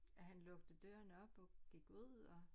At han lukkede døren op og gik ud og